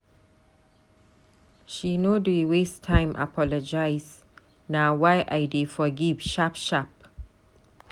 She no dey waste time apologize, na why I dey forgive sharp sharp.